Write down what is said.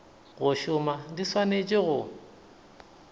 go šoma di swanetše go